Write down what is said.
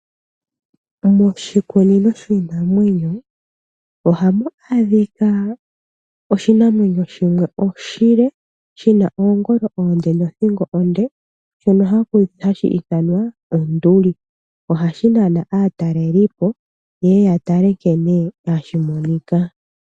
Moshikunino shiinamwenyo ohamu adhika oshinamwenyo shimwe oshile, shina oongolo oonde nodhingo onde, shono hashi ithwanwa onduli. Ohashi nana aatalelipo yeye yatale nkene hashi monika.